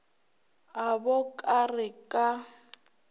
a bo ka re ka